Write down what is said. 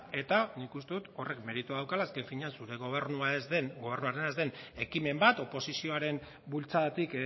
eta nik uste dut horrek meritua daukala azken finean zure gobernuarena ez den ekimen bat oposizioaren bultzadatik